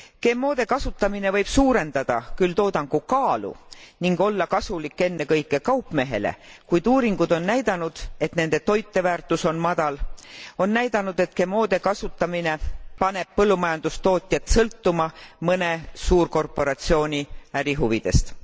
GMOde kasutamine võib suurendada küll toodangu kaalu ning olla kasulik ennekõike kaupmehele, kuid uuringud on näidanud, et nende toiteväärtus on madal ning GMOde kasutamine paneb põllumajandustootjad sõltuma mõne suurkorporatsiooni ärihuvidest.